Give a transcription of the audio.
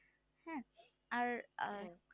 আর আর